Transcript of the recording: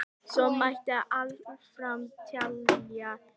Svo mætti áfram telja.